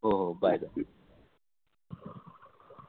हो हो bye bye